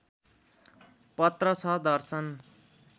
पत्र छ दर्शन